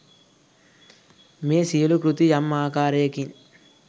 මේ සියලු කෘති යම් ආකාරයකින්